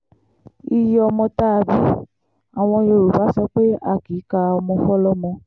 iye ọmọ tá a bí àwọn yorùbá sọ pé a kì í ka ọmọ fọlọ́mọ